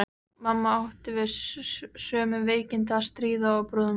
Mamma átti við sömu veikindi að stríða og bróðir þinn.